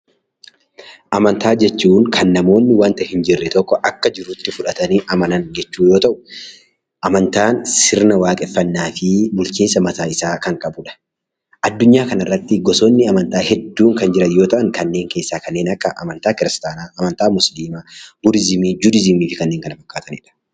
Amantaa jechuun kan namoonni wanta hin jirre tokko akka jirutti fudhatanii amanan jechuu yoo ta'u, Amantaan sirna waaqeffannaa fi bulchiinsa mataa isaa kan qabu dha. Addunyaa kana irratti gosootni amantaa hedduun kan jiran yoo ta'an, kanneen keessaa kanneen akka amantaa Kiristiyaanaa, amantaa Muusliimaa, Budiizimii, Judiizimii fi kanneen kana fakkaatani dha.